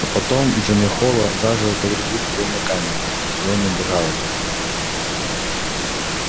а потом джимми холла заживо погребли в тюремной камере и он убежал оттуда